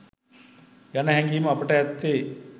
යන හැඟීම අපට ඇත්තේ